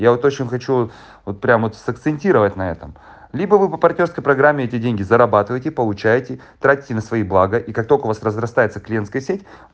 я вот очень хочу вот прямо с акцентировать на этом либо вы по партнёрской программе эти деньги зарабатываете получаете тратите на свои блага и как только у вас разрастается клиентская сеть